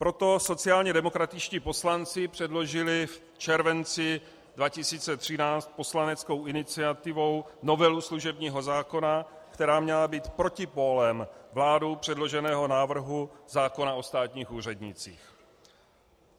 Proto sociálně demokratičtí poslanci předložili v červenci 2013 poslaneckou iniciativou novelu služebního zákona, která měla být protipólem vládou předloženého návrhu zákona o státních úřednících.